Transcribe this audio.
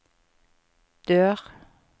dør